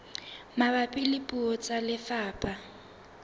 mabapi le puo tsa lefapha